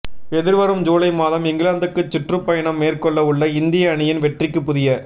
எதிர்வரும் ஜூலை மாதம் இங்கிலாந்துக்குச் சுற்றுப்பயணம் மேற்கொள்ளவுள்ள இந்திய அணியின் வெற்றிக்கு புதிய